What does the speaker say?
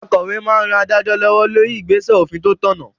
Akòwé máa n ran adájọ́ lọ́wọ́ lórí igbesẹ òfin tó tọ̀nà